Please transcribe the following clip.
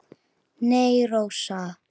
Nei, Rósa.